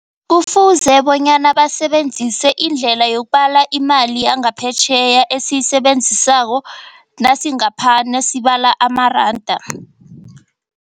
Kufuze bonyana basebenzise indlela yokubula imali yangaphetjheya esiyisebenzisako nasi ngapha, nesibala amaranda.